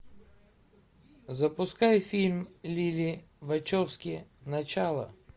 запускай фильм лили вачовски начало